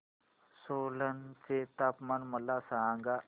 सोलन चे तापमान मला सांगा